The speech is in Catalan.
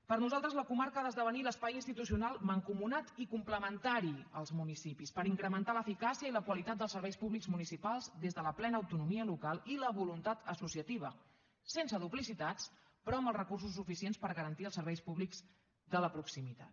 per nosaltres la comarca ha d’esdevenir l’espai institucional mancomunat i complementari als municipis per incrementar l’eficàcia i la qualitat dels serveis públics municipals des de la plena autonomia local i la voluntat associativa sense duplicitats però amb els recursos suficients per garantir els serveis públics de la proximitat